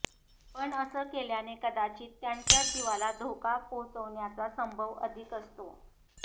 पण असं केल्याने कदाचित त्यांच्याच जीवाला धोका पोहोचण्याचा संभव अधिक असतो